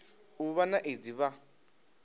u vha na aids vha